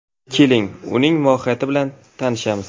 Keling, uning mohiyati bilan tanishamiz.